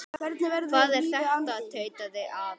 Hvað er þetta? tautaði afi.